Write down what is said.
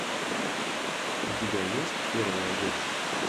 у тебя есть первая дочь